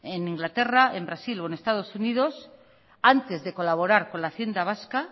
en inglaterra en brasil o en estados unidos antes de colaborar con la hacienda vasca